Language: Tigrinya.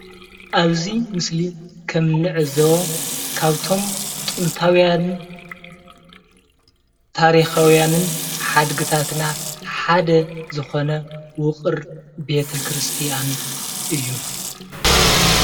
ኣብዚ ምስሊ ከም እንዕዘቦ ካብቶም ጥንታውያንን ታሪካውያንን ሓድግታትና ሓደ ዝኮነ ውቅር ቤተ ክርስትያን እዩ፡፡